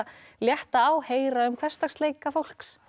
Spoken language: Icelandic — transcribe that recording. létta á heyra um hversdagsleika fólks